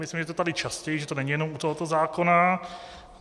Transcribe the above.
Myslím, že je to tady častěji, že to není jenom u tohoto zákona.